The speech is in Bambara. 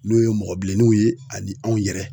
N'o ye mɔgɔ bilenniw ye ani anw yɛrɛ.